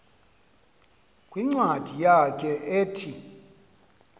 kwincwadi yakhe ethi